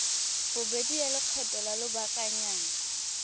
bobedi ya lekgetho la lobakanyana